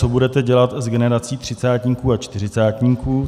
Co budete dělat s generací třicátníků a čtyřicátníků?